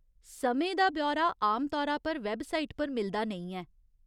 समें दा ब्यौरा आम तौरा पर वैबसाइट पर मिलदा नेईं ऐ।